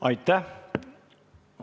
Aitäh!